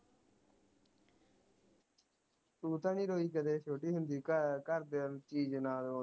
ਤੂੰ ਤਾ ਨੀ ਰੋਈ ਕਦੇ ਛੋਟੀ ਹੁੰਦੀ ਘਰਦਿਆਂ ਨੂੰ ਚੀਜ਼ ਨਾਲ